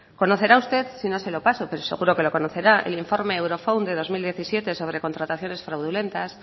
conocerá usted sino se lo paso pero seguro que lo conocerá el informe eurofound de dos mil diecisiete sobre contrataciones fraudulentas